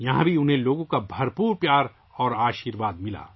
یہاں بھی انہیں لوگوں کی طرف سے بے پناہ محبت اور آشیرواد ملا